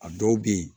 A dɔw bɛ yen